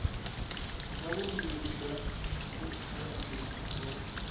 wa vumbiwa bya riphabliki ra